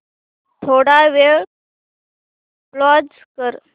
थोडा वेळ पॉझ कर